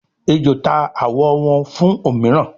ejó ta awọ wón fún òmíràn